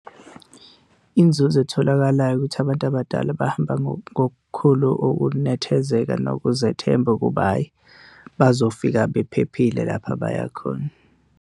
Inzuzo etholakalayo ukuthi abantu abadala bahamba ngokukhulu ukunethezeka nokuzethemba ukuba hhayi bazofika bephephile lapha abaya khona.